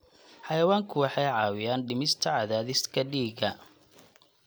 Xayawaanku waxay caawiyaan dhimista cadaadiska dhiigga.